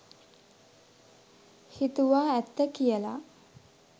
හිතුවා ඇත්ත කියලා.